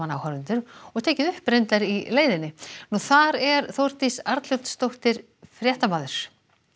áhorfendur og tekið upp í leiðinni þar er Þórdís Arnljótsdóttir fréttamaður